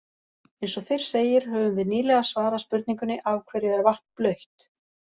Eins og fyrr segir höfum við nýlega svarað spurningunni Af hverju er vatn blautt?